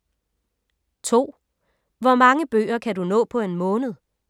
2) Hvor mange bøger kan du nå på en måned?